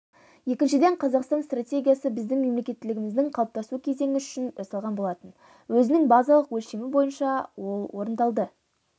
екіншіден қазақстан стратегиясы біздің мемлекеттілігіміздің қалыптасу кезеңі үшін жасалған болатын өзінің базалық өлшемі бойынша ол орындалды